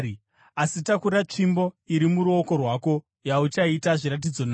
Asi takura tsvimbo iyi muruoko rwako yauchaita zviratidzo nayo.”